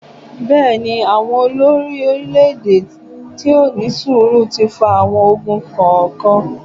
Bẹ́ẹ̀ ni, àwọn olorí-oeílè-èdè tih kò ní sùúrù ti fa àwọn ogun kọ̀ọ̀kan.